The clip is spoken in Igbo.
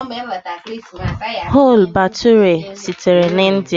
Chole Bhature sitere na India.